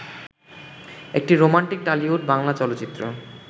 একটি রোমান্টিক টলিউডি বাংলা চলচ্চিত্র